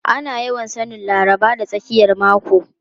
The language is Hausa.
Ana yawan sanin Laraba da tsakiyar mako.